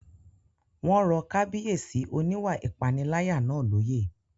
Wọ́n rọ Kábíyèsí oníwà ìpániláyà náà lóyè